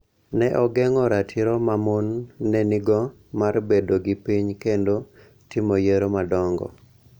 Ne ogeng�o ratiro ma mon ne nigo mar bedo gi piny kendo timo yiero madongo.